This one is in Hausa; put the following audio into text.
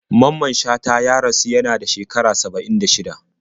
Mamman Shata ya rasu yada shekara 76